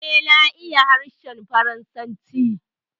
Eh, na iya harshen Faransanci